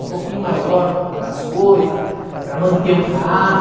Um pouquinho maior para comprar as coisa, para manter o carro.